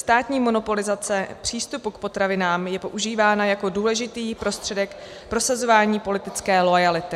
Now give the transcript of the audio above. Státní monopolizace přístupu k potravinám je používána jako důležitý prostředek prosazování politické loajality.